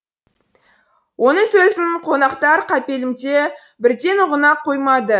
оның сөзін қонақтар қапелімде бірден ұғына қоймады